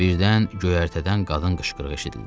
Birdən göyərtədən qadın qışqırığı eşidildi.